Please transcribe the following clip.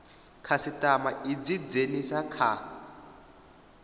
khasitama i dzi dzhenise kha